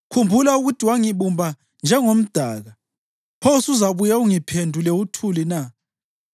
Khumbula ukuthi wangibumba njengomdaka. Pho usuzabuye ungiphendule uthuli na?